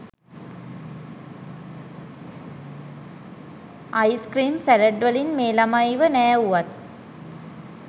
ice cream salad වලින් මේ ළමයිව නෑවුවත්